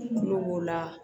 Kulo b'o la